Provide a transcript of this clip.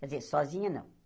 Quer dizer, sozinha não.